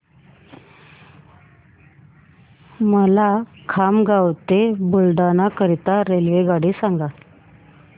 मला खामगाव ते बुलढाणा करीता रेल्वेगाडी सांगा